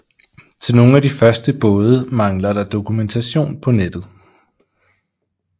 Til nogle af de første både mangler der dokumentation på nettet